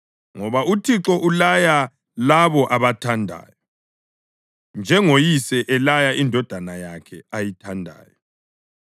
ngoba uThixo ulaya labo abathandayo, njengoyise elaya indodana yakhe ayithandayo.